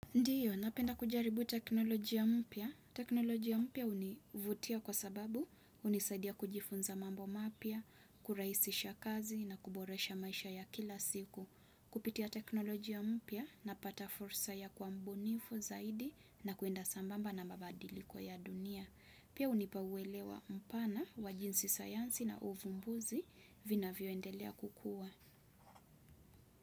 Ndiyo napenda kujaribu teknolojia mpya. Teknolojia mpya hunivutia kwa sababu hunisaidia kujifunza mambo mapya, kurahisisha kazi na kuboresha maisha ya kila siku. Kupitia teknoloji ya mpya napata fursa ya kuwa mbunifu zaidi na kwenda sambamba na mabadiliko ya dunia. Pia hunipa uelewa mpana wa jinsi sayansi na uvumbuzi vina vinavyoendelea kukua.